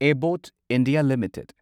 Abbott India limited